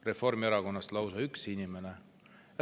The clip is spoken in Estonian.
Reformierakonnast on lausa üks inimene.